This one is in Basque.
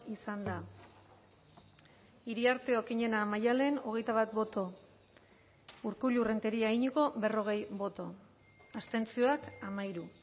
izan da iriarte okiñena maddalen hogeita bat boto urkullu rentería iñigo berrogei boto abstentzioak hamairu